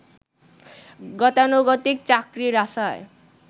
গতানুগতিক চাকরির আশায়